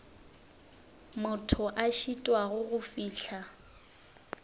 motho a šitwago go fihla